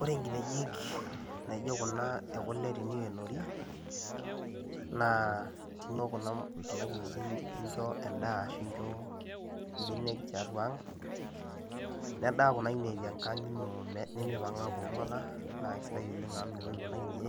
Ore nkinejik naijo kuna ekule teneikenori naa nkenoo kuna kinejik nincho endaa ninchoo mbenek tiatua ang nedaabkuna kinejik tenkang ino na esidai oleng amu mitoki kuna kinejik